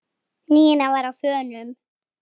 Nína var á þönum.